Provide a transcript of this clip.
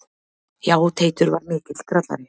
Já, Teitur var mikill grallari.